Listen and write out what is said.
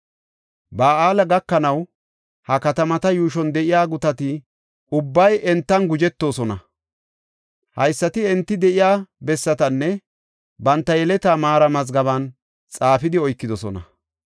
Ba7aale gakanaw ha katamata yuushuwan de7iya gutati ubbay entan gujetoosona. Haysati enti de7iya bessatanne banta yeletaa maara mazgaben xaafidi oykidosona.